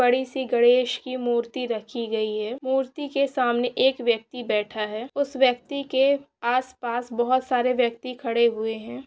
बड़ी से गणेश की मूर्ति रखी गई है मूर्ति के सामने एक व्यक्ति बैठा है उस व्यक्ति के आस पास बहुत सारे व्यक्ति खड़े हुए है।